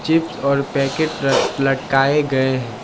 Chips और packet लटकाए गए हैं।